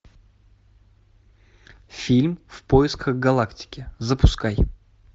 фильм в поисках галактики запускай